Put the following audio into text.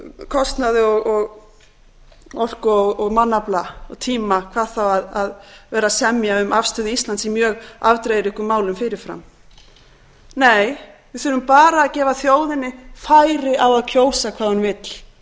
kostnaði og orku og mannafla og tíma hvað þá að vera að semja um afstöðu íslands í mjög afdrifaríkum málum fyrir fram nei við þurfum bara að gefa þjóðinni færi á að kjósa hvað hún vill